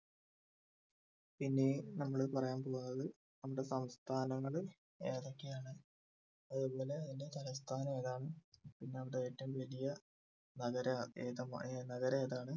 പിന്നെ നമ്മൾ പറയാൻ പോകുന്നത് നമ്മടെ സംസ്ഥാനങ്ങൾ ഏതൊക്കെയാണ് അതുപോലെ അതിൻ്റെ തലസ്ഥാനം ഏതാണ് പിന്നെ അവിടെ ഏറ്റവും വലിയ നഗരം ഏതാ ഏർ നഗരം ഏതാണ്